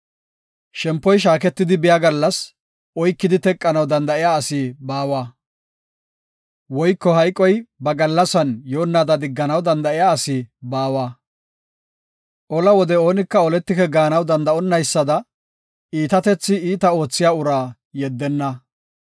Shempoy shaaketidi biya gallas oykidi teqanaw danda7iya asi baawa; woyko hayqoy ba gallasan yoonnaada digganaw danda7iya asi baawa. Ola wode oonika oletike gaanaw danda7onnaysada iitatethi iita oothiya uraa yeddenna.